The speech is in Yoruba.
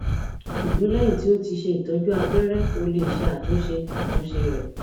ṣugbọn lẹhin ti o ti ṣe itọju abẹrẹ o le ṣe atunṣe atunṣe rẹ